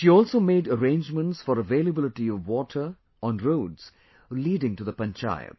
She also made arrangements for availability of water on roads leading to the Panchayat